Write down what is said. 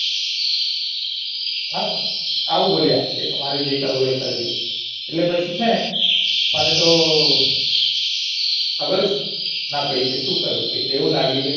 હા આવું બોલ્યા કે તમારે જે કરવું હોય એ કરીલો એટલે પછીં સેને મને ખબર જ ના પડી કે સુ કરવું કે આવું લાગ્યું કે